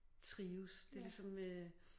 Trives det ligesom øh